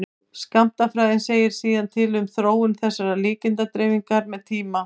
skammtafræðin segir síðan til um þróun þessarar líkindadreifingar með tíma